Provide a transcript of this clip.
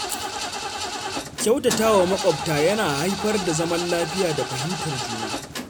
Kyautatawa makwabta yana haifar da zaman lafiya da fahimtar juna.